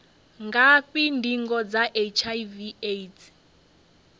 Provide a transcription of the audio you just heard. ngafhi ndingo dza hiv aids